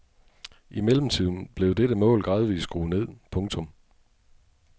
I mellemtiden blev dette mål gradvist skruet ned. punktum